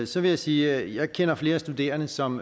så vil jeg sige at jeg kender flere studerende som